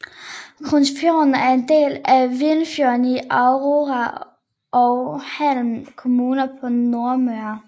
Korsnesfjorden er en del af Vinjefjorden i Aure og Heim kommuner på Nordmøre